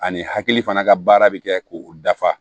Ani hakili fana ka baara bɛ kɛ k'o dafa